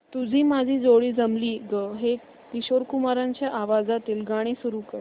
तुझी माझी जोडी जमली गं हे किशोर कुमारांच्या आवाजातील गाणं सुरू कर